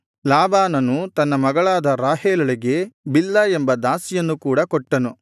ಲಾಬಾನನು ತನ್ನ ಮಗಳಾದ ರಾಹೇಲಳಿಗೆ ಬಿಲ್ಹಾ ಎಂಬ ದಾಸಿಯನ್ನು ಕೂಡ ಕೊಟ್ಟನು